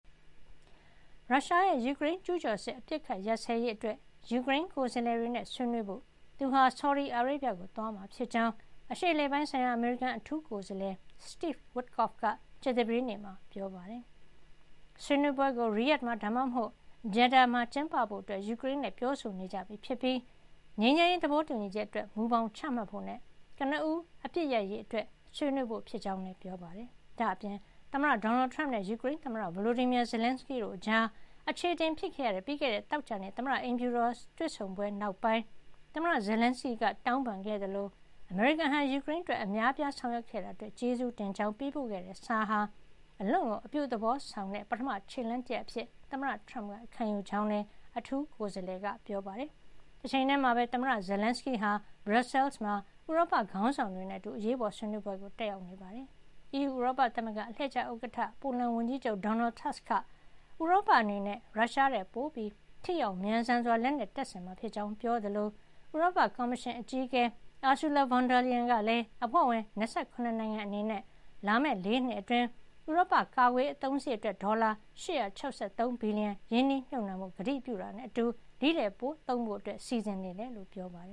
ရုရှားရဲ့ ယူကရိန်းကျူးကျော်စစ် အပစ်အခတ်ရပ်စဲရေးအတွက် ယူကရိန်းကိုယ်စားလှယ်တွေနဲ့ ဆွေးနွေးဖို့ သူဟာ ဆော်ဒီအာရေဗျကို သွားမှာဖြစ်ကြောင်း အရှေ့အလယ်ပိုင်းဆိုင်ရာ အမေရိကန်အထူးကိုယ်စားလှယ် Steve Witkoff က ကြာသပတေးနေ့မှာပြောပါတယ်။ ဆွေးနွေးပွဲကို Riyadh မှာ ဒါမှမဟုတ် Jeddah မှာ ကျင်းပဖို့ ယူကရိန်းနဲ့ ပြောဆိုနေကြပြီ ဖြစ်ပြီး ငြိမ်းချမ်းရေး သဘောတူညီချက်အတွက် မူဘောင်ချမှတ်ဖို့နဲ့ ကနဦး အပစ်ခတ် ရပ်စဲရေးအတွက် ဆွေးနွေးဖို့ ဖြစ်ကြောင်းလည်း ပြောပါတယ်။ ဒါ့အပြင် သမ္မတဒေါ်နယ်ထရမ့်နဲ့ ယူကရိန်းသမ္မတ Volodymyr Zelensky တို့ကြား အခြေအတင်ဖြစ်ခဲ့ရတဲ့ ပြီးခဲ့တဲ့ သောကြာနေ့ သမ္မတအိမ်ဖြူတော်က တွေ့ဆုံပွဲ နောက်ပိုင်း သမ္မတ Zelensky က တောင်းပန်ခဲ့သလို၊ အမေရိကန်ဟာ ယူကရိန်းအတွက် အများအပြားဆောင်ရွက်ခဲ့တာအတွက် ကျေးဇူးတင်ကြောင်း ပေးပို့ခဲ့တဲ့စာဟာ အလွန်ကို အပြုသဘောဆောင်တဲ့ ပထမ ခြေလှမ်း တရပ် အဖြစ် သမ္မတထရမ့်က ခံယူကြောင်းလည်း အထူး ကိုယ်စားလှယ်က ပြောပါတယ်။ တချိန်ထဲမှာပဲ သမ္မတ Zelenskyy ဟာ ဘရပ်ဆဲလ်မှာ ဥရောပခေါင်းဆောင်တွေနဲ့ အတူ အရေးပေါ် ဆွေးနွေးပွဲတက်ရောက် နေတာပါ။ အီးယူဥရောပသမဂ္ဂ အလှည့်ကျ ဥက္ကဌ ဖြစ်တဲ့ ပိုလန်ဝန်ကြီးချုပ် Donald Tusk က ဥရောပ အနေနဲ့ ရုရှားထက် ပိုပြီး ထိရောက် မြန်ဆန်စွာ လက်နက်တပ်ဆင်မှာ ဖြစ်ကြောင်း ပြောသလို ဥရောပကော်မရှင် အကြီးအကဲ Ursula von der Leyen ကလည်း အဖွဲ့ဝင် ၂၇ နိုင်ငံ အနေနဲ့ လာမယ့် ၄ နှစ် အတွင်း ဥရောပ ကာကွယ်ရေး အသုံးစားရိတ် အတွက် ဒေါ်လာ ၈၆၃ ဘီလီယံ ရင်းနှီးမြှုပ်နှံဖို့ ကတိပြုတာနဲ့ အတူ ဒါ့ထက် ပိုသုံးဖို့ စီစဉ်နေကြောင်း ပြောပါတ